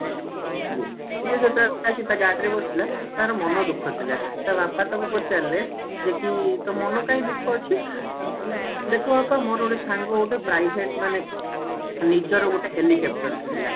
ଇଏ ସିଏ ଯେତେବେଳେ ଆସିକି ତା ଗାଡି ରେ ବସିଲା ତାର ମନ ଦୁଖ ଥିଲା ତା ବାପା ତାକୁ ପଚାରିଲେ ଯେ କି ତୋ ମନ କାହିକି ଦୁଖ ଅଛି ତାପରେ କହିଲା ଦେଖ ବାପା ମୋର ଗୋଟେ ସାଙ୍ଗ ଗୋଟେ private ମାନେ ନିଜର ଗୋଟେ helicopter କିଣିଲା